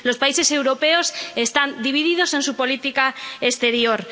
Los países europeos están divididos en su política exterior.